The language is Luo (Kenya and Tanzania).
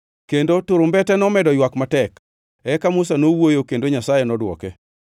kendo turumbete nomedo ywak matek. Eka Musa nowuoyo kendo Nyasaye nodwoke.